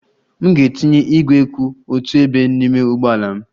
M ga-etinye igwe kwụ otu ebe n'ime ụgbọ ala m.